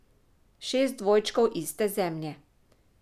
Šest dvojčkov iste zemlje.